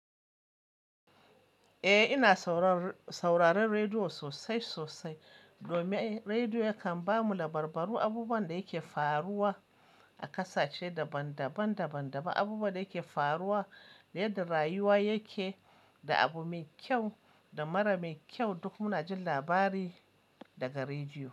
Eh ina sauraron rediyo sosai sosai domin rediyo yakan bamu labarbaru abubuwan da yake faruwa a ƙasashe daban daban daban daban, abubuwan da yake faruwa yadda rayuwa yake, da abu mai kyau da mara mai kyau duk muna jin labari daga rediyo.